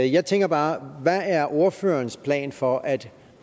jeg tænker bare hvad er ordførerens plan for at